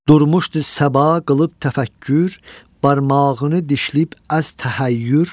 Durmuşdu Səba qılıb təfəkkür, barmağını dişləyib əz təhəyyür.